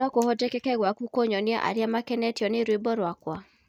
no kuhotekeke gwaku kunyonia aria makenetio ni rwĩmbo rwakwa